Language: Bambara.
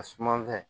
A sumanfɛn